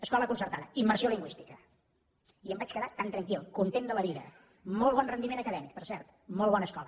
escola concertada immersió lingüística i em vaig quedar tan tranquil content de la vida molt bon rendiment acadèmic per cert molt bona escola